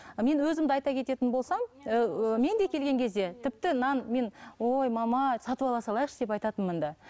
мен өзімді айта кететін болсам ыыы мен де келген кезде тіпті нан мен ой мама сатып ала салайықшы деп айтатынмын ды